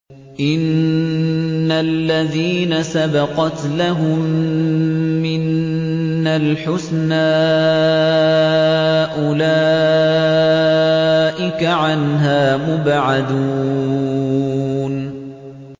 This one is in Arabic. إِنَّ الَّذِينَ سَبَقَتْ لَهُم مِّنَّا الْحُسْنَىٰ أُولَٰئِكَ عَنْهَا مُبْعَدُونَ